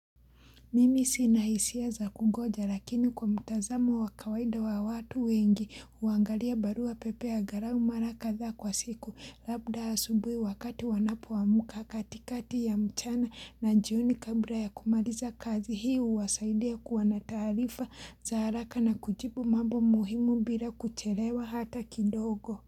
Mimi sina hisia za kungoja lakini kwa mtazamo wa kawaida wa watu wengi uangalia barua pepe agarau maraka za kwa siku labda asubui wakati wanapuamuka katikati ya mchana na jioni kabla ya kumariza kazi hiu wasaidia kuwa na taarifa za haraka na kujibu mambo muhimu bila kuchelewa hata kidogo.